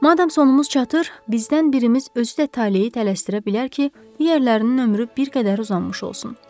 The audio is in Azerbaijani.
Madam sonumuz çatır, bizdən birimiz özü də taleyi dəyişdirə bilər ki, digərlərinin ömrü bir qədər uzanmış olsun.